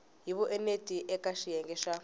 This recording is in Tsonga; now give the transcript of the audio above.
hi vuenti eka xiyenge xa